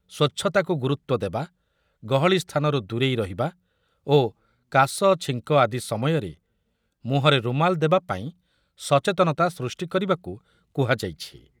ସ୍ୱଚ୍ଛତାକୁ ଗୁରୁତ୍ବ ଦେବା, ଗହଳି ସ୍ଥାନରୁ ଦୂରେଇ ରହିବା ଓ କାଶ, ଛିଙ୍କ ଆଦି ସମୟରେ ମୁହଁରେ ରୁମାଲ୍ ଦେବା ପାଇଁ ସଚେତନତା ସୃଷ୍ଟି କରିବାକୁ କୁହାଯାଇଛି ।